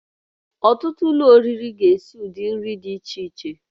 Ọtụtụ ụlọ oriri ga-esi ụdị nri dị iche iche